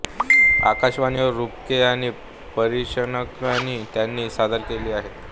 आकाशवाणीवर रूपके आणि परीक्षणणही त्यांनी सादर केली आहेत